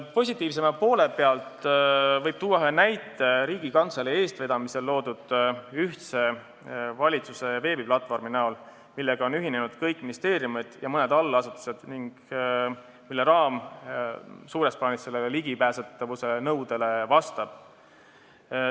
Positiivsema poole pealt võib tuua ühe näite Riigikantselei eestvedamisel loodud valitsuse ühtse veebiplatvormi kohta, millega on ühinenud kõik ministeeriumid ja mõned allasutused ning mille raam suures plaanis sellele ligipääsetavuse nõudele vastab.